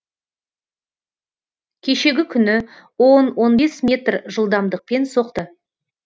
кешегі күні он он бес метр жылдамдықпен соқты